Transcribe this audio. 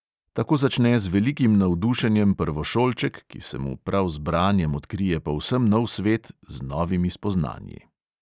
Tako začne z velikim navdušenjem prvošolček, ki se mu prav z branjem odkrije povsem nov svet z novimi spoznanji.